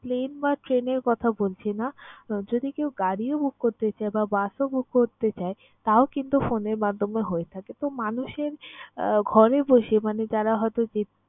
plane বা train এর কথা বলছি না, যদি কেউ গাড়িও book করতে চায় বা bus ও book করতে চায় তাও কিন্তু phone এর মাধ্যমে হয়ে থাকে। তো, মানুষের আহ ঘরে বসে মানে যারা হয়ত যে